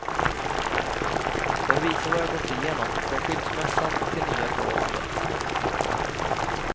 Den visar vad jag gått igenom, från skilsmässan till nya förhållandet.